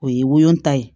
O ye wolonta ye